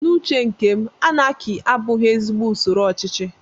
N'uche nke m, anaki abụghị ezigbo usoro ochichi